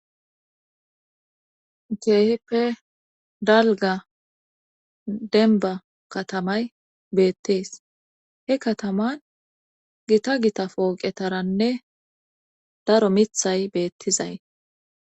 keehippe dalga denba katamay beettees he kataman gita gita pooqetaranne daro mithay beettizay